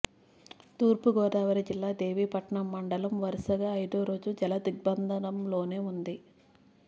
తూర్పుగోదావరి జిల్లా దేవీపట్నం మండలం వరుసగా ఐదో రోజూ జలదిగ్బంధంలోనే ఉంది